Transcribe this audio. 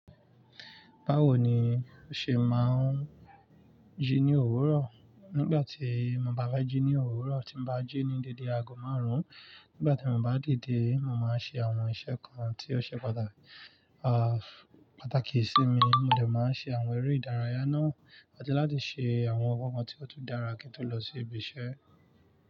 Báwo ni o ṣe máa ń jí ní òwúrọ̀? Nígbà tí mo bá bá jí ní òwúrọ̀, tí mo bá jí ní dédé ago márùn-ún, nígbà tí mo bá dìde, mo máa ń ṣe àwọn iṣẹ́ kan tí ó ṣe pàtàkì sí mi. Mo dẹ̀ máa ṣe àwọn eré ìdárayá náà, àti láti ṣe àwọn nǹkan tí ó tó dára kí n tó lọ sí ibi iṣẹ́.